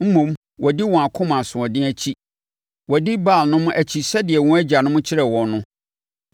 Mmom, wɔadi wɔn akoma asoɔden akyi, wɔadi Baalnom akyi sɛdeɛ wɔn agyanom kyerɛɛ wɔn no.”